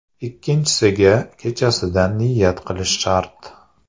Ikkinchisiga kechasidan niyat qilish shart.